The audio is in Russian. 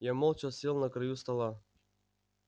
я молча сел на краю стола